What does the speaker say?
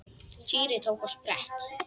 Týri tók á sprett.